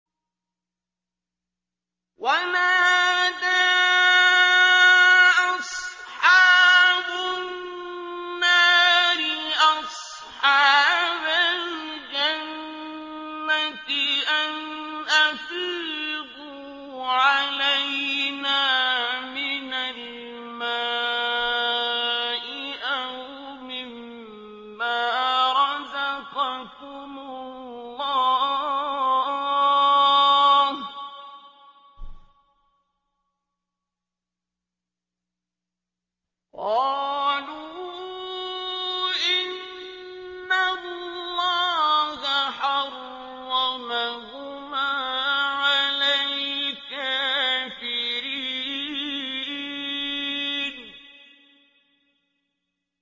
وَنَادَىٰ أَصْحَابُ النَّارِ أَصْحَابَ الْجَنَّةِ أَنْ أَفِيضُوا عَلَيْنَا مِنَ الْمَاءِ أَوْ مِمَّا رَزَقَكُمُ اللَّهُ ۚ قَالُوا إِنَّ اللَّهَ حَرَّمَهُمَا عَلَى الْكَافِرِينَ